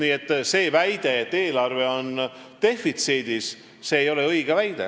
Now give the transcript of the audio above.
Nii et see väide, et eelarve on defitsiidis, ei ole õige väide.